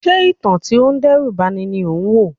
Ṣé ìtàn tí ó ń dẹ́rù ba ni ni o wò?